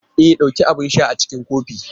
E! dauki abin sha a cikin kofin.